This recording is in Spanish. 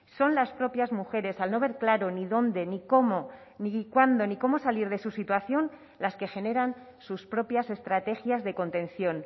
son las propias mujeres al no ver claro ni dónde ni cómo ni cuándo ni cómo salir de su situación las que generan sus propias estrategias de contención